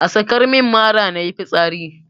Ka sakar min mara nayi fitsari.